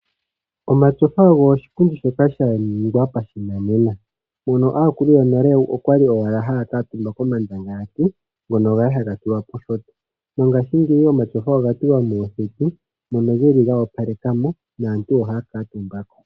Omatyofa ogo oshipundi shoka sha ningwa pashinanena mono aakulu yonale okwali owala haya kuuntumba komandangalati ngono gali haga tulwa poshinyanga mongashingeyi omatyofa oga tulwa moondunda dhokuuhala mono geli go palekamo naantu ohaya kuuntumba ko.